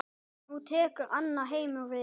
Nú tekur annar heimur við.